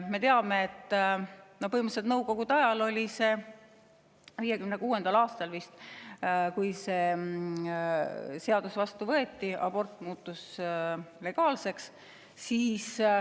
Me teame, et põhimõtteliselt oli see nõukogude ajal, 1956. aastal vist, kui see seadus vastu võeti ja abort muutus legaalseks.